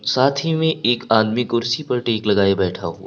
साथी में एक आदमी कुर्सी पर टेक लगाए बैठा हुआ--